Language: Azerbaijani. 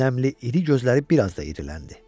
Nəmli iri gözləri biraz da iriləndi.